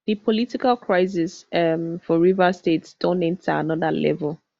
di political crisis um for rivers state don enta anoda level